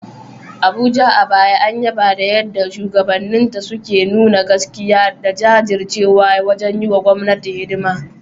Abuja, a baya an yaba da yadda shugabanninta suka nuna gaskiya da jajircewa wajen yi wa gwamnati hidima.